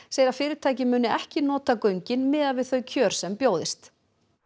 segir að fyrirtækið muni ekki nota göngin miðað við þau kjör sem bjóðist